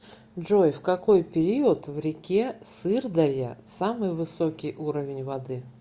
джой в какой период в реке сырдарья самый высокий уровень воды